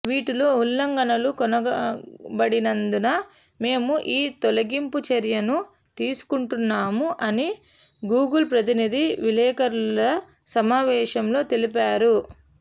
వీటిలో ఉల్లంఘనలు కనుగొనబడినందున మేము ఈ తొలగింపు చర్యను తీసుకుంటున్నాము అని గూగుల్ ప్రతినిధి విలేకరుల సమావేశంలో తెలిపారు